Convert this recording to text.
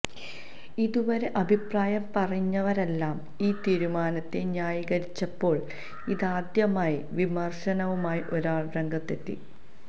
ഇതുവരെ അഭിപ്രായം പറഞ്ഞവരെല്ലാം ഈ തീരുമാനത്തെ ന്യായീകരിച്ചപ്പോള് ഇതാദ്യമായി വിമര്ശനവുമായി ഒരാള് രംഗത്തെത്തി